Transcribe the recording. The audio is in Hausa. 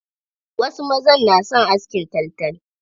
Wasu mazan na son askin taltal.